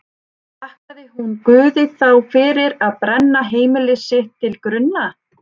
Þakkaði hún Guði þá fyrir að brenna heimili sitt til grunna?